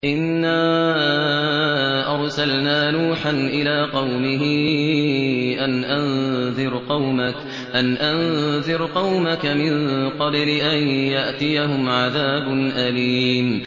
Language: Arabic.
إِنَّا أَرْسَلْنَا نُوحًا إِلَىٰ قَوْمِهِ أَنْ أَنذِرْ قَوْمَكَ مِن قَبْلِ أَن يَأْتِيَهُمْ عَذَابٌ أَلِيمٌ